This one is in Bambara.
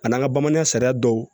A n'an ka bamananya sariya dɔw